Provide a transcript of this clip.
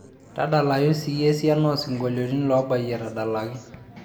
tadalayu siyie esiana oo isinkolioni loobayie etadalaki